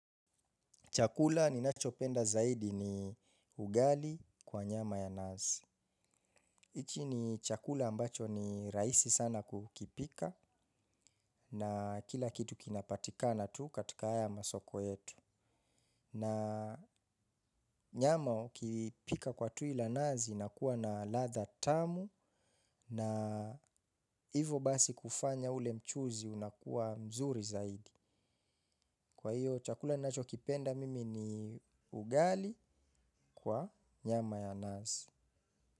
Chakula ninacho penda zaidi ni ugali kwa nyama ya nazi. Ichi ni chakula ambacho ni raisi sana kukipika na kila kitu kinapatikana tu katika haya masoko yetu. Na nyama, ukipika kwa tu ila nazi inakua na ladha tamu na hivo basi, kufanya ule mchuzi unakuwa mzuri zaidi. Kwa hiyo chakula ninacho kipenda mimi ni ugali, kwa nyama ya nazi.